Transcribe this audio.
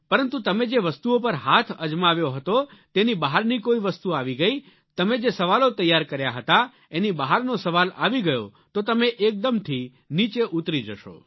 પરંતુ તમે જે વસ્તુઓ પર હાથ અજમાવ્યો હતો તેની બહારની કોઈ વસ્તુ આવી ગઈ તમે જે સવાલો તૈયાર કર્યા હતા એની બહારનો સવાલ આવી ગયો તો તમે એકદમથી નીચે ઉતરી જશો